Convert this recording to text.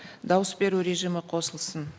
дауыс беру режимі қосылсын